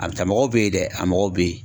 A bɛ taa mɔgɔw bɛ yen dɛ a mɔgɔ bɛ yen.